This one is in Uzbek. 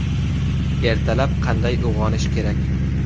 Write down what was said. Ertalab qanday uyg‘onish kerak?